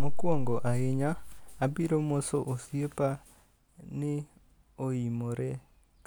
Mokuongo ahinya abiro moso osiepa ni oimore,